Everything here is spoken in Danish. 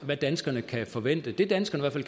hvad danskerne kan forvente det danskerne i